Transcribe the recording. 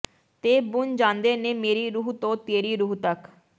ਤੇ ਬੁਣ ਜਾਂਦੇ ਨੇ ਮੇਰੀ ਰੂਹ ਤੋਂ ਤੇਰੀ ਰੂਹ ਤਕ